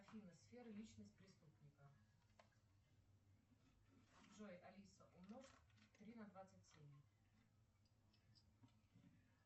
афина сфера личность преступника джой алиса умножь три на двадцать семь